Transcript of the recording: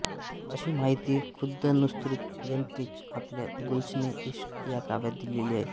अशी माहिती खुद्द नुस्रती यांनीच आपल्या गुल्शने इश्क या काव्यात दिलेली आहे